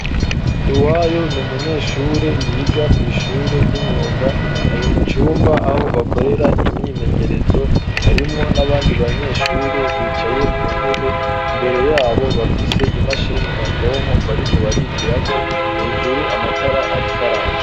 Nduwayo, ni umunyeshure, yiga kw'ishure ry'imyuga; ari mu cumba, aho bakorera imyimenyerezo; harimwo n'abandi banyeshure, bicaye ku ntebe; imbere y'abo, bafise imashini nyabwonko, bariko barigirako; hejuru, amatara ariko araka.